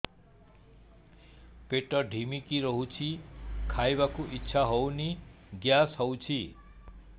ପେଟ ଢିମିକି ରହୁଛି ଖାଇବାକୁ ଇଛା ହଉନି ଗ୍ୟାସ ହଉଚି